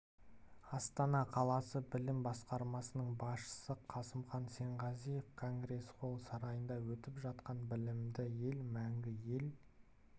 астана қаласы білім басқармасының басшысы қасымхан сенғазыев конгресс-холл сарайында өтіп жатқан білімді ел мәңгі ел